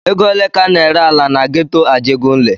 Ego ole ka a na-ere ala na geto Ajegunle?